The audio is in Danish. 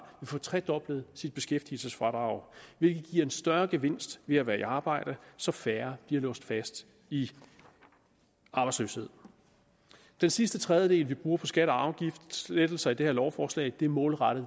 få tredoblet sit beskæftigelsesfradrag hvilket giver en større gevinst ved at være i arbejde så færre bliver låst fast i arbejdsløshed den sidste tredjedel vi bruger på skatte og afgiftslettelser i det her lovforslag er målrettet